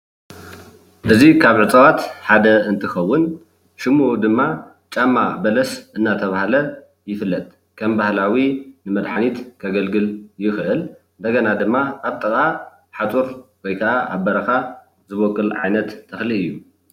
እዚ ካብ ዕፅዋት ሓደ እንትከውን ሽሙ ድማ ጫማ በለስ እናተበሃለ ይፍለጥ። ከም ባህላዊ ንመድሓኒት ከገልግል ይክእል እንደገና ድማ ኣብ ጥቃ ሓፁር ወይከዓ ኣብ በረካ ዝቦቅል ዓይነት ተኽሊ እዩ።